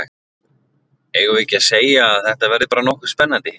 Eigum við ekki að segja að þetta verði bara nokkuð spennandi?